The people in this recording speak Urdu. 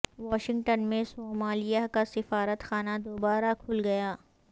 واشنگٹن میں صومالیہ کا سفارت خانہ دوبارہ کھل گیا